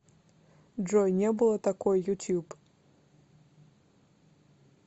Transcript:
джой не было такой ютьюб